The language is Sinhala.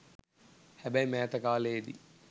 හැබැයි මෑත කාලයේදී